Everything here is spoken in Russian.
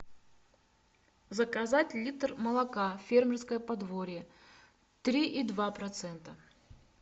заказать литр молока фермерское подворье три и два процента